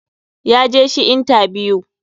ya je shi intabiyu.